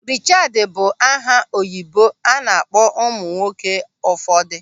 Richaad bụ aha oyibo a na-akpọ ụmụ nwoke ụfọdụ.